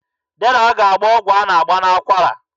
Dera ga-agba ọgwụ a na-agba n'akwara.